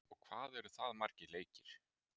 og hvað eru það margir leikir?